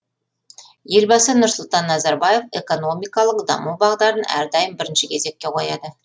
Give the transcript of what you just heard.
елбасы нұрсұлтан назарбаев экономикалық даму бағдарын әрдайым бірінші кезекке қояды